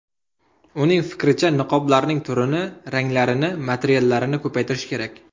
Uning fikricha, niqoblarning turini, ranglarini, materiallarini ko‘paytirish kerak.